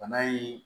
Bana in